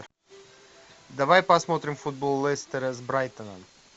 давай посмотрим футбол лестера с брайтоном